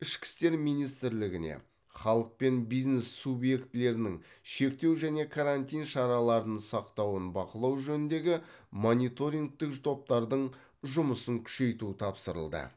ішкі істер министрлігіне халық пен бизнес субъектілерінің шектеу және карантин шараларын сақтауын бақылау жөніндегі мониторингтік топтардың жұмысын күшейту тапсырылды